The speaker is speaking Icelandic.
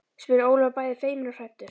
spurði Ólafur bæði feiminn og hræddur.